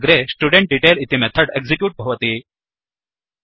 अग्रे स्टुडेन्ट्डेटेल इति method execute भवति